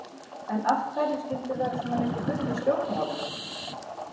En af hverju skyldi vera svona mikið bull í stjórnmálum?